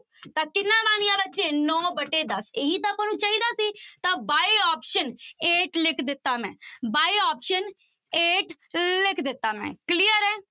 ਤਾਂ ਕਿੰਨਾ ਬਣ ਗਿਆ ਬੱਚੇ ਨੋਂ ਵਟੇ ਦਸ ਇਹੀ ਤਾਂ ਆਪਾਂ ਨੂੰ ਚਾਹੀਦਾ ਸੀ ਤਾਂ by option eight ਲਿਖ ਦਿੱਤਾ ਮੈਂ ਬਾਏ option eight ਲਿਖ ਦਿੱਤਾ ਮੈਂ clear ਹੈ।